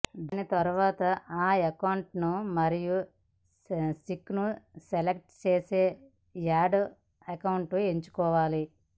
దాని తరువాత అకౌంట్ మరియు సింక్కు సెలెక్ట్ చేసే యాడ్ అకౌంట్ని ఎంచుకోవాలి